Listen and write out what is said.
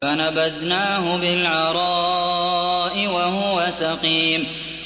۞ فَنَبَذْنَاهُ بِالْعَرَاءِ وَهُوَ سَقِيمٌ